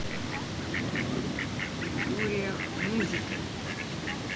виктория музика